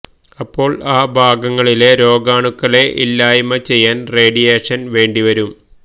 അപ്പോൾ ആ ഭാഗങ്ങളിലെ രോഗാണുക്കളെ ഇല്ലായിമ്മ ചെയ്യാൻ റേഡിയേഷൻ വേണ്ടിവരും